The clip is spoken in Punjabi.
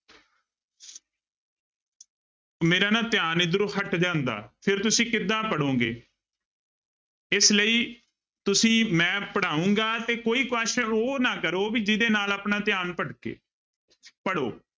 ਮੇਰਾ ਨਾ ਧਿਆਨ ਇੱਧਰੋਂ ਹਟ ਜਾਂਦਾ, ਫਿਰ ਤੁਸੀਂ ਕਿੱਦਾਂ ਪੜ੍ਹੋਂਗੇ ਇਸ ਲਈ ਤੁਸੀਂ ਮੈਂ ਪੜ੍ਹਾਊਂਗਾ ਤੇ ਕੋਈ question ਉਹ ਨਾ ਕਰੋ ਵੀ ਜਿਹਦੇ ਨਾਲ ਆਪਣਾ ਧਿਆਨ ਭਟਕੇ ਪੜ੍ਹੋ।